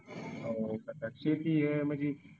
जस की या मध्ये